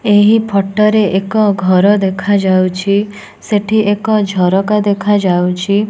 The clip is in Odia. ଏହି ଫୋଟ ରେ ଏକ ଘର ଦେଖାଯାଉଛି ସେଠି ଏକ ଝରକା ଦେଖାଯାଉଛି।